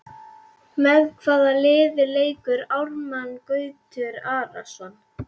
Með hvaða liði leikur Árni Gautur Arason?